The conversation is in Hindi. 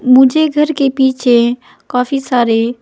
मुझे घर के पीछे काफी सारे--